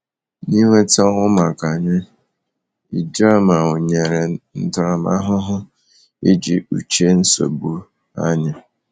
N’ịnweta ọnwụ maka anyị, Ijoma nyere ntaramahụhụ iji kpuchie nsogbu anyị.